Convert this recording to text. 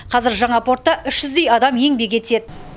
қазір жаңа портта үш жүздей адам еңбек етеді